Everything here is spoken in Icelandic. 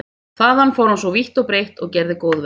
Þaðan fór hann svo vítt og breitt og gerði góðverk.